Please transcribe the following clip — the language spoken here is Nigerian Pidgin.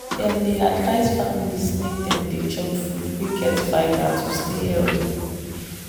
dem dey advise families make dem dey chop food wey get fibre to stay healthy.